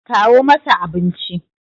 kawo masa abinci!